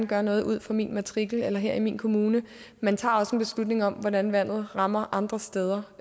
gøre noget ud for min matrikel eller her i min kommune man tager også en beslutning om hvordan vandet rammer andre steder